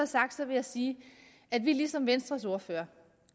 sagt vil jeg sige at vi ligesom venstres ordfører